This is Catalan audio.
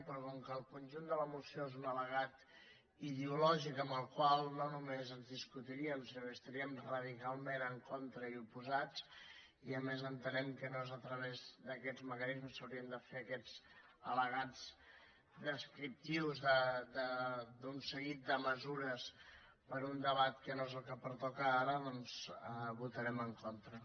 però com que el conjunt de la moció és un al·legat ideo lògic amb el qual no només ens discutiríem sinó que hi estaríem radicalment en contra i oposats i a més entenem que no és a través d’aquests mecanismes que s’haurien de fer aquests al·legats descriptius d’un seguit de mesures per a un debat que no és el que pertoca ara doncs hi votarem en contra